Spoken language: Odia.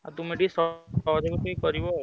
ଆଉ ତୁମେ ଟିକେ ସହଯୋଗ ଟିକେ କରିବ ଆଉ।